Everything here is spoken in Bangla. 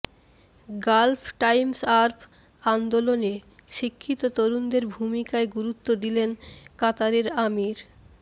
গালফ টাইমসআরব আন্দোলনে শিক্ষিত তরুণদের ভূমিকায় গুরুত্ব দিলেন কাতারের আমির